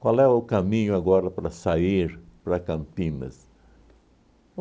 Qual é o caminho agora para sair para Campinas?